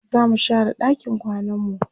zamu share ɗakin kwananmu